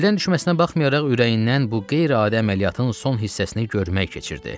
Əldən düşməsinə baxmayaraq, ürəyindən bu qeyri-adi əməliyyatın son hissəsini görmək keçirdi.